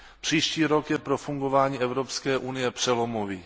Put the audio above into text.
Příští rok je pro fungování Evropské unie přelomový.